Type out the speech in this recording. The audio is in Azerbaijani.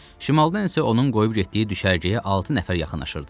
Şimaldan isə onun qoyub getdiyi düşərgəyə altı nəfər yaxınlaşırdı.